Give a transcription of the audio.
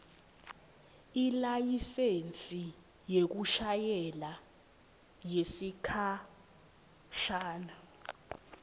ilayisensi yekushayela yesikhashana